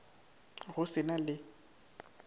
go se sa na le